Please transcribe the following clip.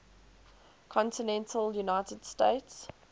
continental united states